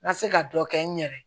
N ka se ka dɔ kɛ n yɛrɛ ye